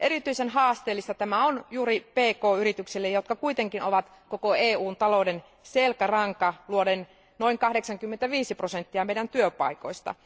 Erityisen haasteellista tämä on juuri pk yrityksille, jotka kuitenkin ovat koko EUn talouden selkäranka luoden noin 85 prosenttia meidän työpaikoistamme.